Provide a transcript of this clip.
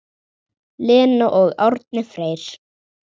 Lena og Árni Freyr.